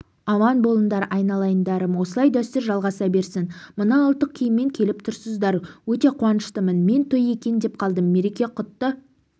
аман болыңдар айналайындарым осылай дәстүр жалғаса берсін мына ұлттық киіммен келіп тұрсыздар өте қуаныштымын мен той екен деп қалдым мереке құтты